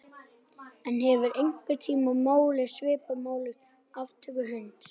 En hefurðu einhvern tíma málað svipað málverk af aftöku hunds?